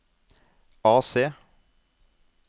AC